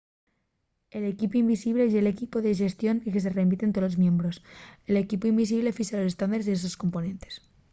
el equipu invisible” ye l'equipu de xestión al que se remiten tolos miembros. l'equipu invisible fixa los estándares de los sos componentes